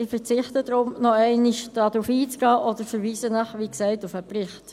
Ich verzichte deshalb darauf, nochmals darauf einzugehen, oder verweise, wie gesagt, auf den Bericht.